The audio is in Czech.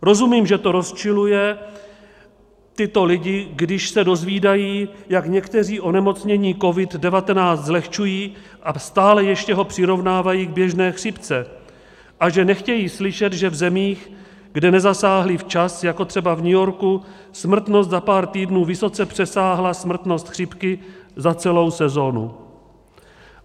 Rozumím, že to rozčiluje tyto lidi, když se dozvídají, jak někteří onemocnění COVID-19 zlehčují a stále ještě ho přirovnávají k běžné chřipce a že nechtějí slyšet, že v zemích, kde nezasáhli včas, jako třeba v New Yorku, smrtnost za pár týdnů vysoce přesáhla smrtnost chřipky za celou sezónu.